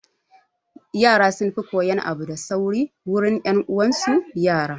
Yara sun fi koyan abu da sauri wurin 'yan uwan su yara